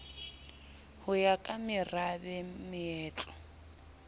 ho ya ka merabe moetlo